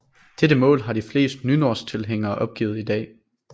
Dette mål har de fleste nynorsktilhængere opgivet i dag